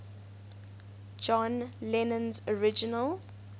john lennon's original